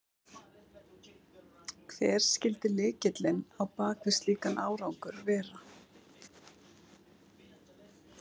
Hver skyldi lykillinn á bak við slíkan árangur vera?